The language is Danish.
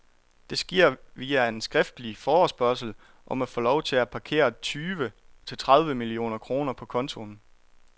Det sker via en skriftlig forespørgsel om at få lov til at parkere tyve til tredive millioner kroner på kontoen.